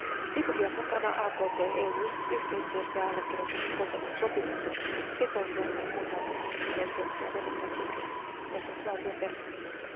Djibouti on mukana AKT EU yhteistyössä ja allekirjoittanut Cotonoun sopimuksen sitoutuen näin kunnioittamaan ihmisoikeuksia, demokratiaa ja oikeusvaltioperiaatteita.